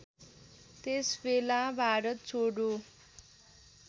त्यसबेला भारत छोडो